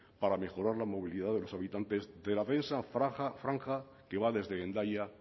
para mejorar la movilidad de los habitantes de la densa franja que va desde hendaia